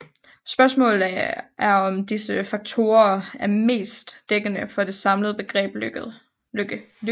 Spørgsmålet er om disse faktorer er mest dækkende for det samlede begreb lykke